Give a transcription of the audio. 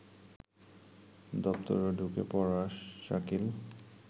দপ্তরে ঢুকে পড়া শাকিল